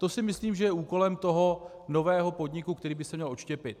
To si myslím, že je úkolem toho nového podniku, který by se měl odštěpit.